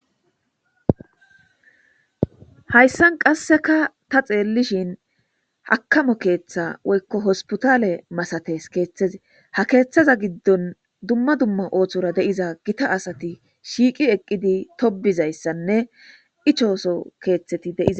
Hayisan qasika tani xelishin hakamo ketha woyiko hospitale misates kethazi ha kethaza gidon duma duma osora diza gita asti shiqi eqidi tobidayisanne icho soho ketati detees